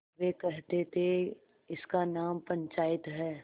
वे कहते थेइसका नाम पंचायत है